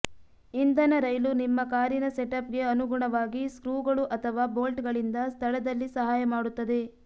ಇಂಧನ ರೈಲು ನಿಮ್ಮ ಕಾರಿನ ಸೆಟಪ್ಗೆ ಅನುಗುಣವಾಗಿ ಸ್ಕ್ರೂಗಳು ಅಥವಾ ಬೊಲ್ಟ್ಗಳಿಂದ ಸ್ಥಳದಲ್ಲಿ ಸಹಾಯ ಮಾಡುತ್ತದೆ